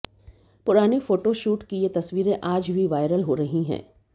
पुराने फोटोशूट की ये तस्वीरें आज भी वायरल हो रही हैं